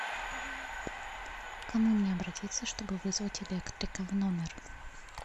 к кому мне обратиться чтобы вызвать электрика в номер